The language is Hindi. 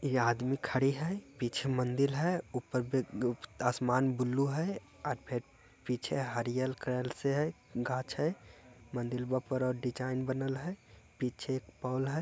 ये आदमी खड़ी है पीछे मंदिर है ऊपर भ अ आसमान ब्लू है अ फेर पीछे हरीयल कलर से है गाझ है मंदिलवा पर डिज़ाइन बनल है पीछे एक पोल है।